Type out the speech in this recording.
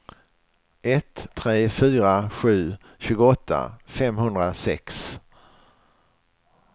ett tre fyra sju tjugoåtta femhundrasex